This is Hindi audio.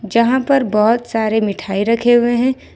जहां पर बहोत सारे मिठाई रखे हुए हैं।